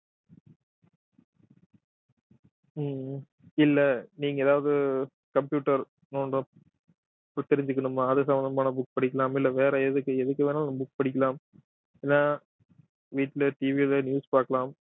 உம் இல்லை நீங்க ஏதாவது computer நோண்டு~தெரிஞ்சுக்கணுமா அது சம்பந்தமான book படிக்கலாம் இல்லை வேற எதுக்கு எதுக்கு வேணாலும் book படிக்கலாம் இல்லை வீட்டுல TV ல எதாவது news பாக்கலாம்